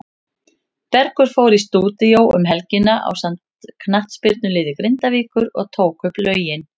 Bergur fór í stúdíó um helgina ásamt knattspyrnuliði Grindavíkur og tók upp lögin.